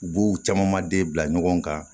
U b'u caman den bila ɲɔgɔn kan